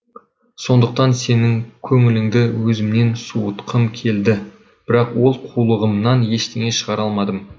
сондықтан сенің көңіліңді өзімнен суытқым келді бірақ ол қулығымнан ештеңе шығара алмадым